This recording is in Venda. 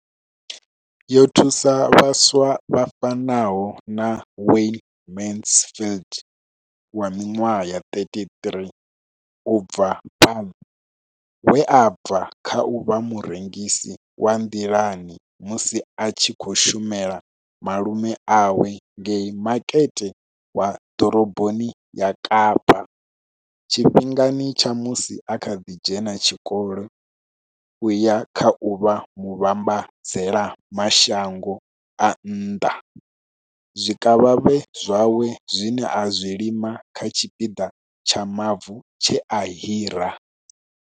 Yo thusa vhaswa vha fanaho na Wayne Mansfield wa minwaha ya 33, u bva Paarl, we a bva kha u vha murengisi wa nḓilani musi a tshi khou shumela malume awe ngei Makete wa Ḓoroboni ya Kapa tshifhingani tsha musi a kha ḓi dzhena tshikolo u ya kha u vha muvhambadzela mashango a nnḓa zwikavhavhe zwawe zwine a zwi lima kha tshipiḓa tsha mavu tshe a hira.